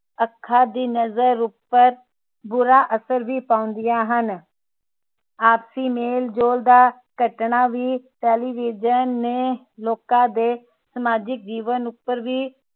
ਅੱਖਾਂ ਦੀ ਨਜਰ ਉਪਰ ਬੁਰਾ ਅਸਰ ਵੀ ਪਾਉਂਦੀਆਂ ਹਨ ਆਪਸੀ ਮੇਲਜੋਲ ਦਾ ਘਟਨਾ television ਨੇ ਲੋਕਾਂ ਦੇ ਸਮਾਜਿਕ ਜੀਵਨ ਉਪਰ ਵੀ